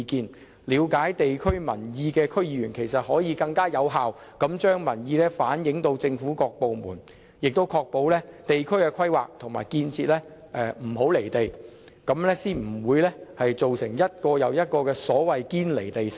其實，了解地區事務的區議員可更有效地將民意向政府各部門反映，確保地區規劃和建設不"離地"，這樣才不會造成一個又一個所謂的"堅離地城"。